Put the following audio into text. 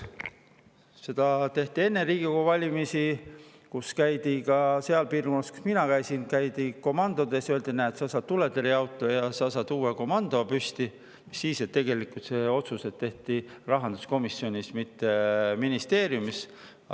Seda tehti enne Riigikogu valimisi, kui seal piirkonnas, kus mina käisin, käidi komandodes ja öeldi, et näed, sa saad tuletõrjeauto ja sa saad uue komando, mis siis, et tegelikult need otsused tehti rahanduskomisjonis, mitte ministeeriumis.